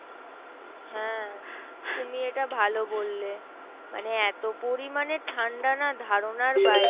হ্যাঁ তুমি এটা ভালো বললে মানে এত পরিমানে ঠান্ডা না ধারণার বাইরে।